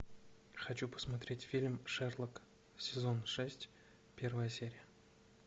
хочу посмотреть фильм шерлок сезон шесть первая серия